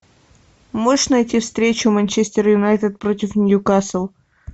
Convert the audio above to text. можешь найти встречу манчестер юнайтед против ньюкасл